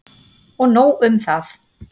Og nóg um það!